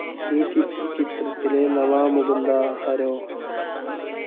ഈ ചിത്രത്തിലെ നാവാ മുകുന്ദാ ഹരേ...